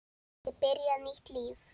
Geti byrjað nýtt líf.